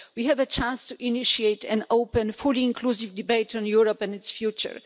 We have a chance to initiate an openm fully inclusive debate on Europe and its future.